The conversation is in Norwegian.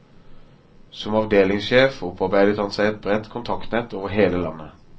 Som avdelingssjef opparbeidet han seg et bredt kontaktnett over hele landet.